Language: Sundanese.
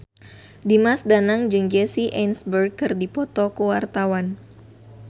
Dimas Danang jeung Jesse Eisenberg keur dipoto ku wartawan